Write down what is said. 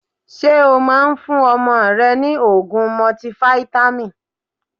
Ṣé o Máa ń fún ọmọ rẹ ni ogún mọtifáítámì?